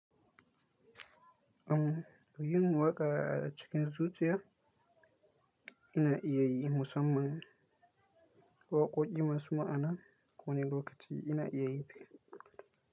Am yin waƙa a cikin zuciya ina iya yi musamman waƙoƙi masu ma'ana. Wani lokaci ina iya yin ta.